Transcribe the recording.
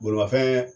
Bolimafɛn